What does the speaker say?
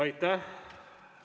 Aitäh!